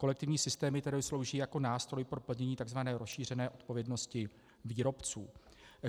Kolektivní systémy tedy slouží jako nástroj pro plnění takzvané rozšířené odpovědnosti výrobců.